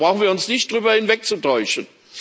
2. Da brauchen wir uns nicht darüber hinwegzutäuschen.